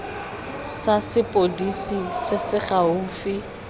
sa sepodisi se se gaufi